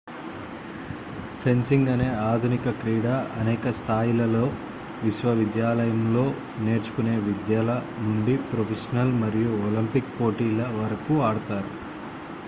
fencing అనే ఆధునిక క్రీడ అనేక స్థాయిలలో విశ్వవిద్యాలయంలో నేర్చుకునే విద్యార్థుల నుండి ప్రొఫెషనల్ మరియు ఒలింపిక్ పోటీల వరకు ఆడుతారు